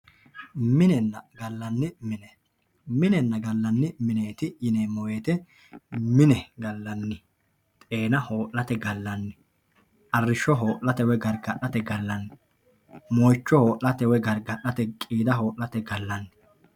Minenna gallanni mine minenna gallanni mineeti yinanni woyiite mine gallanni xeena hoo'late gallanni arrishsho hoo'late woye gargadhate gallanni moicho hoo'late woye gargadhate gallanni qiida hoo'late gallanni